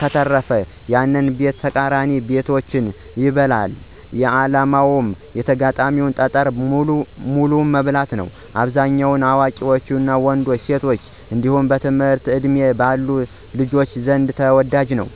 ከተረፈ፣ ያንን ቤትና ተቃራኒ ቤቶችን ይበላል። ዓላማው የተጋጣሚን ጠጠር በሙሉ መብላት ነው። በአብዛኛው በአዋቂ ወንዶችና ሴቶች እንዲሁም በትምህርት ዕድሜ ባሉ ልጆች ዘንድ ተወዳጅ ነው።